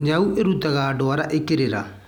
Nyau ĩrutaga ndwara ĩkĩrĩra.